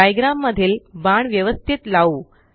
diagram मधील बाण व्यवस्तीत लावू